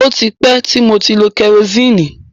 O tí pẹ́ ti mo ti lo kẹrosíìnì.